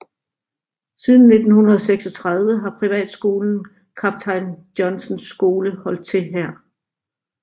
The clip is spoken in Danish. Siden 1936 har privatskolen Kaptajn Johnsens Skole holdt til her